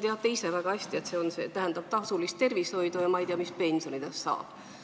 teate ise väga hästi, et see tähendab tasulist tervishoidu, ja ma ei tea, mis siis pensionidest saab.